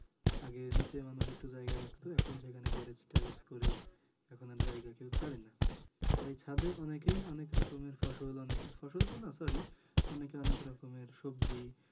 আগে নিচের মানুষ একটু জায়গা রাখতো এখন সেখানে garage ট্যাঁরেজ করে এখন আর জায়গা কেউ ছাড়ে না । তাই ছাদে অনেকেই অনেক রকমের ফসল, অনেক ফসল তো নাহ sorry অনেকে অনেক রকমের সবজি